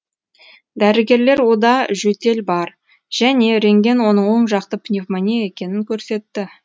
дәрігерлер ода жөтел бар және рентген оның оң жақты пневмония екенін көрсетті